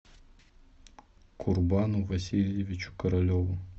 курбану васильевичу королеву